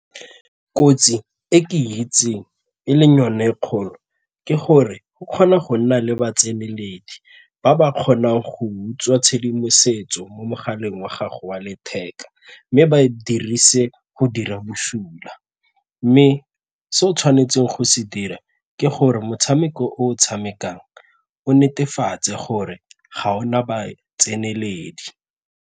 Kotsi e ke itseng e leng yone e kgolo ke gore go kgona go nna le ba ba kgonang go utswa tshedimosetso mo mogaleng wa gago wa letheka mme ba dirise go dira bosula mme se o tshwanetseng go se dira ke gore motshameko o tshamekang o netefatse gore ga o na batseneledi.